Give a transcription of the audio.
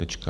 Tečka.